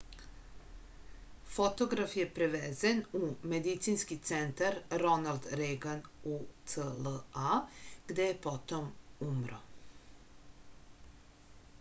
fotograf je prevezen u medicinski centar ronald reagan ucla gde je potom umro